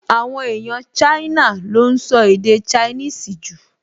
Àwọn èèyàn Ṣáínà ló ún sọ èdè ṣainíìsì jù